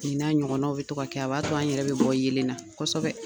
n'a ɲɔgɔnnaw bɛ to ka kɛ a b'a to an yɛrɛ bɛ bɔ yenlen na kosɛbɛ.